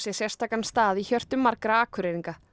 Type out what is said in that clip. sérstakan stað í hjörtum margra Akureyringa